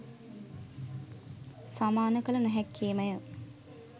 සමාන කළ නොහැක්කේ ම ය.